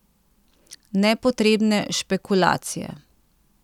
Nepotrebne špekulacije!